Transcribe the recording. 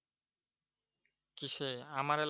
কিসে আমার এলা